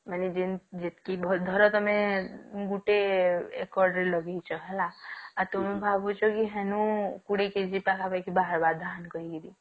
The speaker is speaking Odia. ମାନେ ଜେଣ ଜେଟକିଭଲ ଧର ତମେ ଗୋଟେ ଏକର ରେ ଲଗେଇଛ ହେଲା ଆଉ ତୁମେ ଭାବୁଛ କି ହଏନୋ ପୁଡିକି